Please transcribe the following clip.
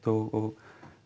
og